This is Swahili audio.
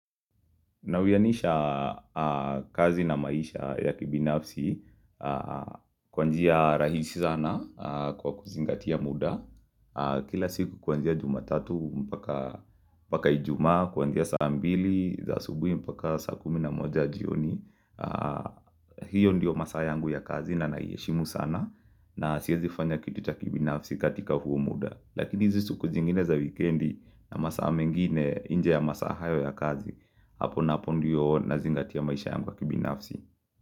Na uyanisha kazi na maisha ya kibinafsi kwanjia rahisi sana kwa kuzingatia muda. Kila siku kwanjia jumatatu mpaka ijuma kwanzia saa mbili, za asubui mpaka saa kumi na moja jioni. Hiyo ndiyo masaa yangu ya kazi na iheshimu sana na siyezi kufanya kitu cha kibinafsi katika huo muda. Lakini hizisiku zingine za wikiendi na masaa mengine inje ya masaa hayo ya kazi. Hapo napo ndiyo na zingatiya maisha yangu ya kibinafsi.